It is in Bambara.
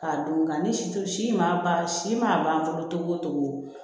K'a don nka ni situ si ma ban si man ban fɔlɔ cogo